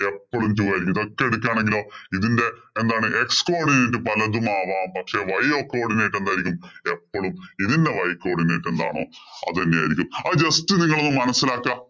എപ്പഴും two ആയിരിക്കും. അത് ഒറ്റയടിക്ക് ആണെങ്കിലോ ഇതിന്‍റെ എന്താണ് x codinate പലതുമാവാം. പക്ഷേ, y codinate എന്തായിരിക്കും? എപ്പളും ഇതിന്‍റെ y codinate എന്താണോ അത് തന്നെയായിരിക്കും. അത് just നിങ്ങള് ഒന്ന് മനസിലാക്കുക.